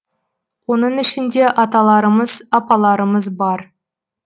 оның ішінде аталарымыз апаларымыз бар